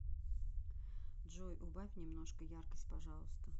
джой убавь немножко яркость пожалуйста